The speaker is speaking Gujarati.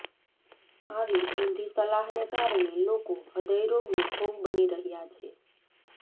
આવી ઊંધી સલાહને કારણે લોકો હૃદયરોગનો ભોગ બની રહ્યા છે